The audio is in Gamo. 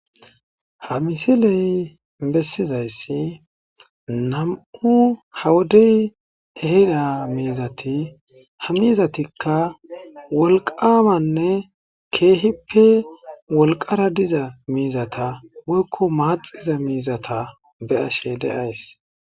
Ha misiley bessizaysi nam'u ha wodey ehida miizati ha miizatika wolqamanne keehippe wolqara diza miizata woykko maaxiza miizata be'ashe de'ays.